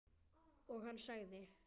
Og hann sagði